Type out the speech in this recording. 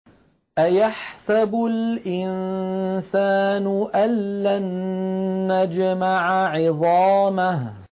أَيَحْسَبُ الْإِنسَانُ أَلَّن نَّجْمَعَ عِظَامَهُ